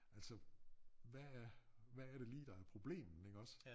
Altså hvad er hvad er det lige der er problemet iggås